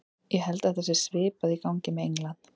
Ég held að það sé svipað í gangi með England.